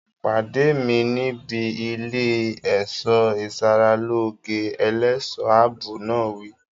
Pàdé mi níbi ilé ẹ̀ṣọ́ ìsaralóge! Ẹlẹ́ṣọ̀ ààbò náà wí.